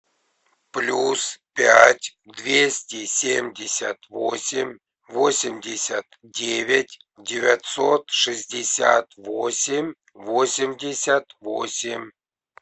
плюс пять двести семьдесят восемь восемьдесят девять девятьсот шестьдесят восемь восемьдесят восемь